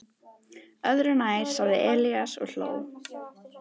Öðru nær, sagði Elías og hló.